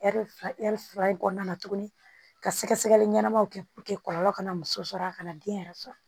Ɛri fila ɛri fila in kɔnɔna na tuguni ka sɛgɛsɛgɛli ɲɛnamaw kɛ kɔlɔlɔ kana muso sɔrɔ a kana den yɛrɛ sɔrɔ